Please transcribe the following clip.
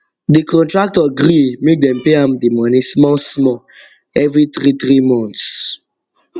the contractor gree make dem pay am the money small small every three three months